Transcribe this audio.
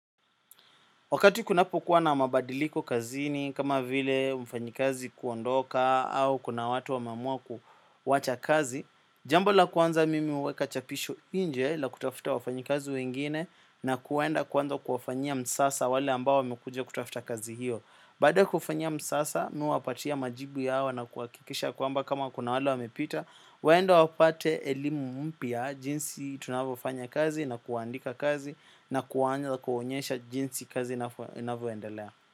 Wakati kunapokuwa na mabadiliko kazini kama vile mfanyikazi kuondoka au kuna watu wameamua kuwacha kazi. Jambo la kwanza mimi huweka chapisho nje la kutafuta wafanyikazi wengine na kwenda kuanza kuwafanyia msasa wale ambao wamekuja kutafuta kazi hiyo. Baada ya kufanya msasa mi huwapatia majibu yao na kuhakikisha kwamba kama kuna wale wamepita waende wapate elimu mpya jinsi tunavyofanya kazi na kuandika kazi na kuanza kuwaonyesha jinsi kazi inavyoendelea.